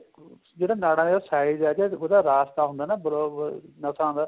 ਜਿਹੜਾ ਨਾੜਾ ਦਾ size ਏ ਜਾਂ ਉਹਦਾ ਰਾਸਤਾ ਹੁੰਦਾ ਏ block ਹੋਇਆ ਨਸਾਂ ਦਾ